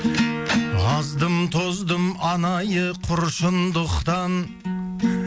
аздым тоздым анайы құр шындықтан